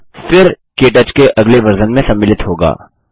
यह फिर के टच के अगले वर्ज़न में सम्मिलित होगा